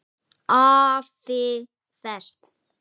AFI Fest